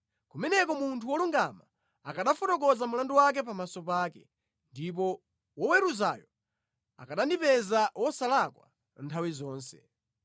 Kumeneko munthu wolungama akanafotokoza mlandu wake pamaso pake, ndipo woweruzayo akanandipeza wosalakwa nthawi zonse.